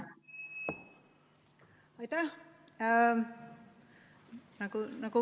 Aitäh!